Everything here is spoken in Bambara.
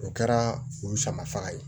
O kɛra olu sama faga ye